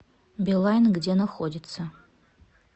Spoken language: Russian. билайн где находится